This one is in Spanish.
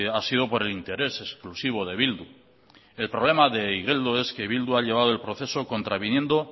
ha sido por el interés exclusivo de bildu el problema de igeldo es que bildu ha llevado el proceso contraviniendo